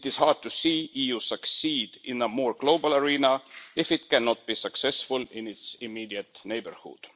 It is hard to see the EU succeed in a more global arena if it cannot be successful in its immediate neighbourhood.